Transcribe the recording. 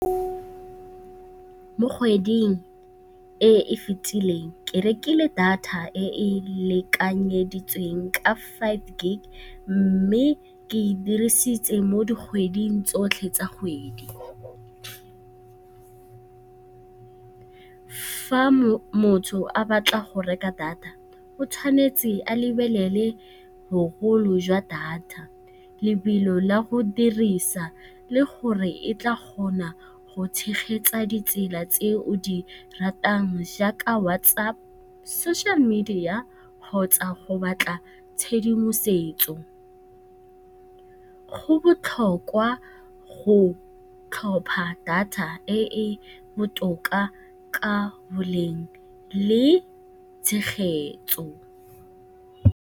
Mo kgweding e e fetileng ke rekile data e e lekanyeditsweng ka five gig, mme ke e dirisitse mo dikgweding tsotlhe tsa kgwedi. Fa motho a batla go reka data o tshwanetse a lebelele bogolo jwa data, lebelo la go dirisa le gore e tla kgona go tshegetsa ditsela tse o di ratang jaaka WhatsApp, social media kgotsa go batla tshedimosetso. Go botlhokwa go tlhopha data e e botoka ka boleng le tshegetso.